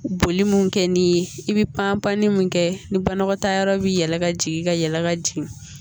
Boli mun kɛ ni ye i bi pan pan mun kɛ ni banakɔtaa yɔrɔ bi yɛlɛ ka jigin ka yɛlɛ ka jigin